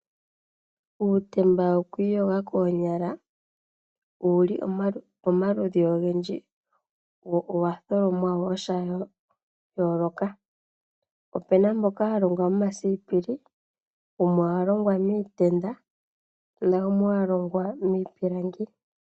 Uutemba wokwiiyogela koonyala owuli pomaludhi ogendji wo owa tholomwa woo shayooloka, opuna mboka walongwa momasipili, wumwe owalongwa miitenda nawumwe owalongwa miipilangi.